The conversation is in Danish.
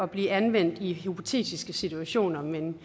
blive anvendt i hypotetiske situationer men